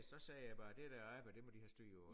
Så sagde jeg bare det der arbejde det må de have styr på